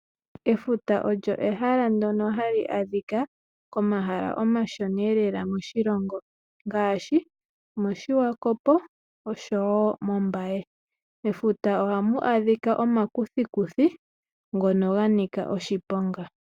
Efuta ehala ndyono hali adhika komahala omashona moshilongo ngaashi koMbaye noShiwakopo. Mefuta ohamu adhika omakuthikuthi ngono ganika oshiponga.